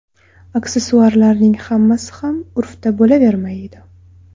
Aksessuarlarning hammasi ham urfda bo‘lavermaydi.